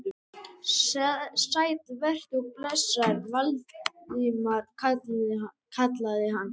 Sæll vertu og blessaður, Valdimar kallaði hann.